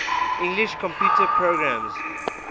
english computer programmers